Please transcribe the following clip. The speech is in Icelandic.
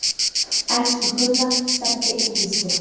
Elsku Gulla, Stebbi og Gísli.